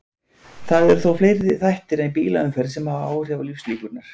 Það eru þó fleiri þættir en bílaumferð sem hafa áhrif á lífslíkurnar.